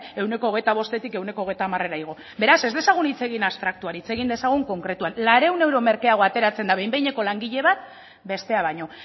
ehuneko hogeita bostetik ehuneko hogeita hamarrera igo beraz ez dezagun hitz egin abstraktuan hitz egin dezagun konkretuan laurehun euro merkeago ateratzen da behin behineko langile bat bestea baino